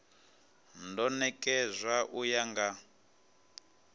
do nekedzwa u ya nga